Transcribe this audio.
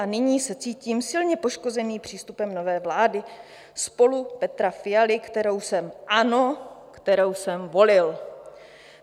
A nyní se cítím silně poškozený přístupem nové vlády SPOLU Petra Fialy, kterou jsem, ano, kterou jsem volil.